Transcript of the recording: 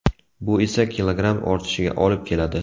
Bu esa kilogramm ortishiga olib keladi.